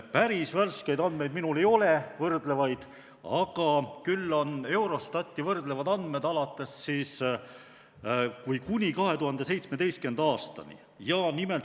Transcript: Päris värskeid andmeid minul ei ole, küll aga on Eurostati võrdlevad andmed kuni 2017. aastani.